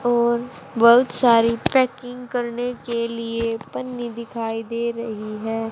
और बहुत सारी पैकिंग करने के लिए पन्नी दिखाई दे रही है।